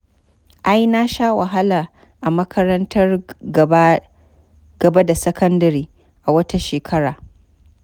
Ai na sha wahala a makarantar gaba da sakandare a wata shekara.